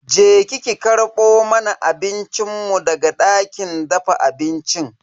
Je ki ki karbo mana abincin mu daga dakin dafa abincin.